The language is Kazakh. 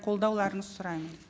қолдауларыңызды сұраймын